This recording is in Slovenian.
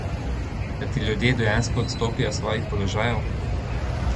Da ti ljudje dejansko odstopijo s svojih položajev?